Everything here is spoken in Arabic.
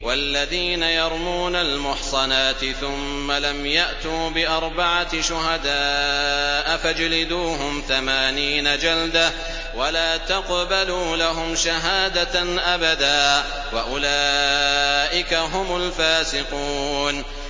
وَالَّذِينَ يَرْمُونَ الْمُحْصَنَاتِ ثُمَّ لَمْ يَأْتُوا بِأَرْبَعَةِ شُهَدَاءَ فَاجْلِدُوهُمْ ثَمَانِينَ جَلْدَةً وَلَا تَقْبَلُوا لَهُمْ شَهَادَةً أَبَدًا ۚ وَأُولَٰئِكَ هُمُ الْفَاسِقُونَ